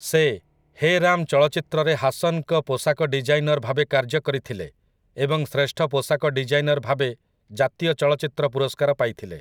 ସେ 'ହେ ରାମ୍' ଚଳଚ୍ଚିତ୍ରରେ ହାସନ୍‌ଙ୍କ ପୋଷାକ ଡିଜାଇନର୍‌ ଭାବେ କାର୍ଯ୍ୟ କରିଥିଲେ ଏବଂ ଶ୍ରେଷ୍ଠ ପୋଷାକ ଡିଜାଇନର୍‌ ଭାବେ ଜାତୀୟ ଚଳଚ୍ଚିତ୍ର ପୁରସ୍କାର ପାଇଥିଲେ ।